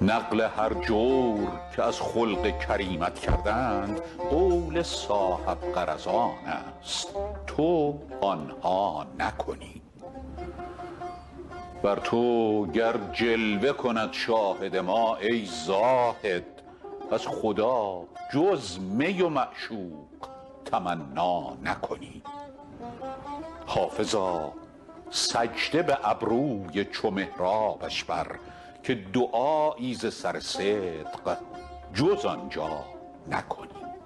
نقل هر جور که از خلق کریمت کردند قول صاحب غرضان است تو آن ها نکنی بر تو گر جلوه کند شاهد ما ای زاهد از خدا جز می و معشوق تمنا نکنی حافظا سجده به ابروی چو محرابش بر که دعایی ز سر صدق جز آن جا نکنی